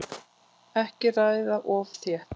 Ekki raða of þétt